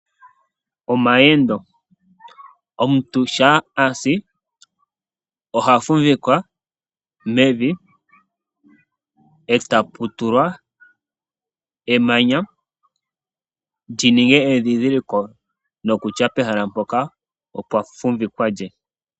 Omuntu shampa asi, oha fumvikwa mevi, lyili momayendo, e tapu tulwa emanya, lininge endhindhiliko nokutya pehala mpoka opwa fumvikwa lye.